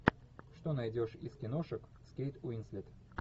что найдешь из киношек с кейт уинслет